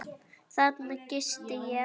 Þarna gisti ég.